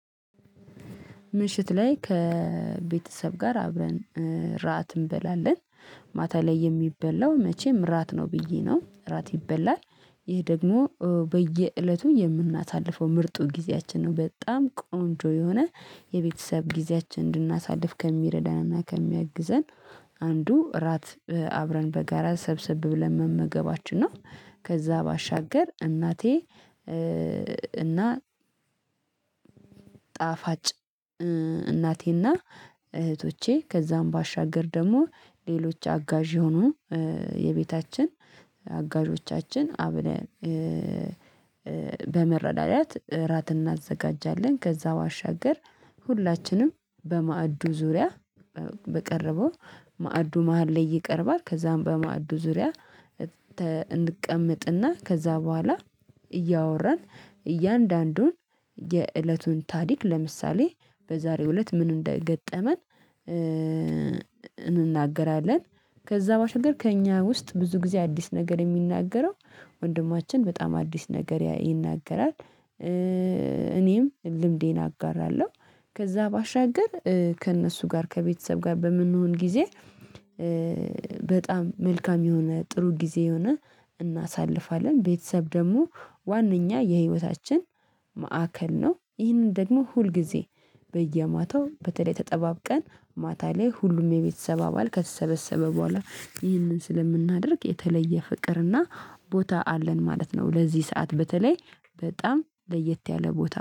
ምሽት ላይ ከቤተሰብ ጋር አብረን ራት እንበላለን። ማታ ላይ የሚበላው መቼም እራት ነው ብዬ ነው እራት ይበላል። ይህ ደግሞ በየእለቱ የምናሳልፈው ምርጡ ጊዜያችን ነው። በጣም ቆንጆ የሆነ የቤተሰብ ጊዜያችን እንድናሳልፍ ከሚረዳና ከሚያግዘን አንዱ እራት አብረን በጋራ ሰብስብ ብለን መመገባችን ነው። ከዛ ባሻገር እናቴ እና ጣፋጭ እናቴና እህቶቼ ከዛም ባሻገር ደግሞ ሌሎች አጋዥ የሆኑ የቤታችን አጋዦቻችን አብለን በመረዳዳት እራት እናዘጋጃለን። ከዛ ባሻገር ሁላችንም በማዕዱ ዙሪያ በቀረበው ማዕዱ መሃል ላይ ይቀርባል። ከዛም በማዕዱ ዙሪያ እንቀመጥና ከዛ በኋላ እያወራን እያንዳንዱን የእለቱን ታሪክ ለምሳሌ በዛሬው እለት ምን እንደገጠመን እንናገራለን። ከዛ ባሻገር ከእኛ ውስጥ ብዙ ጊዜ አዲስ ነገር የሚናገረው ወንድማችን በጣም አዲስ ነገር ይናገራል። እኔም ልምዴን አጋራለሁ። ከዛ ባሻገር ከእነሱ ጋር ከቤተሰብ ጋር በምንሆን ጊዜ በጣም መልካም የሆነ ጥሩ ጊዜ የሆነ እናሳልፋለን። ቤተሰብ ደግሞ ዋነኛ የህይወታችን ማዕከል ነው። ይህንን ደግሞ ሁልጊዜ በየማታው በተለይ ተጠባብቀን ማታ ላይ ሁሉም የቤተሰብ አባል ከተሰበሰበ በኋላ ይህንን ስለምናደርግ የተለየ ፍቅርና ቦታ አለን ማለት ነው። ለዚህ ሰዓት በተለይ በጣም ለየት ያለ ቦታ